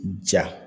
Ja